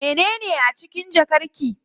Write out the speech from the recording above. Mene a cikin jakar ki?